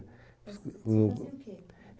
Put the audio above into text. fazia o quê?